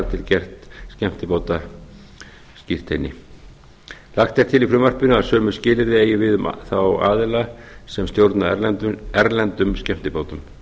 til gerð skemmtibátaskírteini níundi lagt er til í frumvarpinu að sömu skilyrði eigi við um þá aðila sem stjórna erlendum skemmtibátum